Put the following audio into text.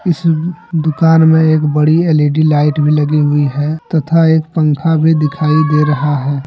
इस दुकान में एक बड़ी एल_ई_डी लाइट भी लगी हुई है तथा एक पंखा भी दिखाई दे रहा है।